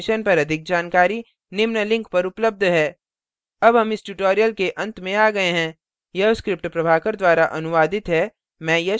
इस mission पर अधिक जानकारी निम्न लिंक पर उपलब्ध है